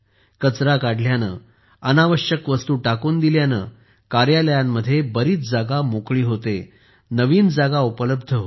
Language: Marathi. कचरा काढल्याने अनावश्यक वस्तू टाकून दिल्यामुळे कार्यालयांमध्ये बरीच जागा मोकळी होते नवीन जागा उपलब्ध होते